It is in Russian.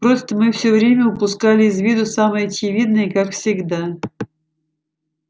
просто мы все время упускали из виду самое очевидное и как всегда